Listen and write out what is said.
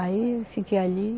Aí eu fiquei ali.